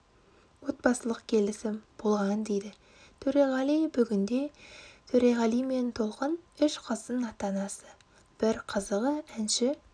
отбасылық келісім болған дейді төреғали бүгінде төреғали мен толқын үш қыздың ата-анасы бір қызығы әнші